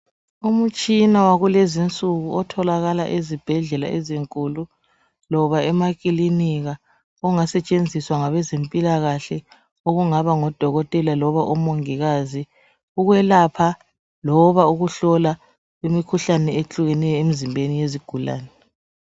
Umtshina walezi insuku otholakala ezibhedlela ezinkulu loba emakilinika ongasetshenziswa ngabezempilakahle okungaba ngudokotela loba omongikazi ukwelapha loba ukuhlola imikhuhlane ehlukeneyo emizimbeni yezigulane.